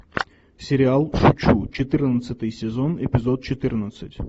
сериал шучу четырнадцатый сезон эпизод четырнадцать